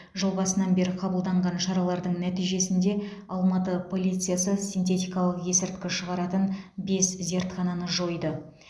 жыл басынан бері қабылданған шаралардың нәтижесінде алматы полициясы синтетикалық есірткі шығаратын бес зертхананы жойды